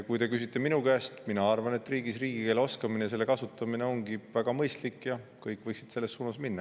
Kui te küsite minu käest, siis mina arvan, et riigis riigikeele oskamine ja selle kasutamine on väga mõistlik ja kõik võiksid selles suunas minna.